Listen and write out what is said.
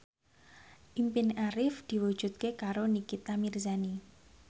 impine Arif diwujudke karo Nikita Mirzani